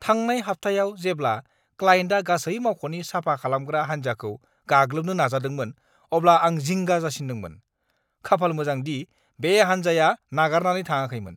थांनाय हाबथायाव जेब्ला क्लाइन्टआ गासै मावख'नि साफा खालामग्रा हानजाखौ गाग्लोबनो नाजादोंमोन अब्ला आं जिंगा जासिन्दोंमोन। खाफाल गोनां दि बे हानजाया नागारनानै थाङाखैमोन।